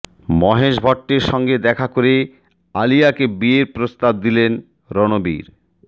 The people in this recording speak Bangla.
মহেশ ভট্টের সঙ্গে দেখা করে আলিয়াকে বিয়ের প্রস্তাব দিলেন রণবীর